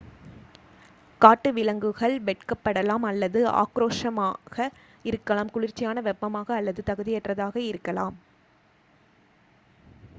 காட்டு விலங்குகள் வெட்க்பபடலாம் அல்லது ஆக்ரோஷமக இருக்கலாம். குளிர்ச்சியான வெப்பமாக அல்லது தகுதியற்றதாக இருக்கலாம்